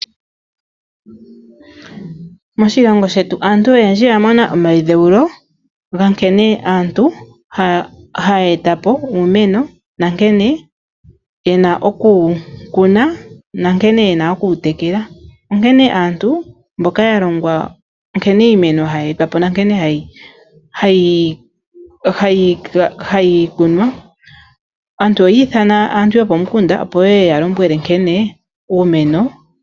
Moshilongo shetu aantu oyendji oya mona omayidheulo ga nkene aantu haya etapo uumeno na nkene yena okukuna oshowo okutekela. Onkene mbono ya mona omayidheulo oyi ithanwa aantu yopomukunda, opo ye yalombwele nkene uumeno hawu silwa oshimpwiyu.